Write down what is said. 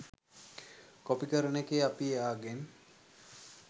copy කරන එකේ අපි එයාගෙන්